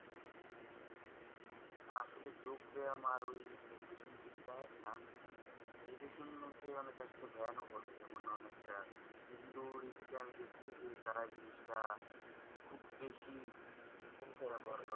না আসলে যোগ ব্যায়াম আর ওই meditation জিনিস টা এক না। meditation কে আসলে অনেকে ধ্যান ও বলে। যেমন অনেকটা হিন্দু রীতি তে আমি দেখছি যে, তারা এই জিনিস টা খুব বেশি